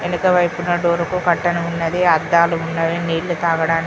ఎనకవైపున door కు curtain ఉన్నది అద్దాలు ఉన్నవి నీళ్లు తాగడాని --